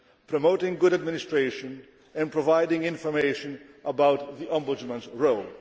promoting good administration and providing information about the Ombudsman's role.